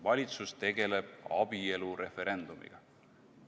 Valitsus tegeleb abielu referendumiga.